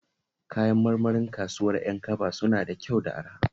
Kayan marmarin kasuwar Yankaba suna da kyau da araha